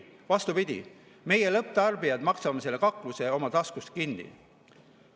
Ei, vastupidi: meie, lõpptarbijad, maksame selle kakluse oma taskust kinni.